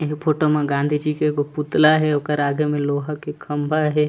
एगो फोटो म गांधी जी के एगो पुतला हे ओकर आगे में लोहा के खम्भा हे।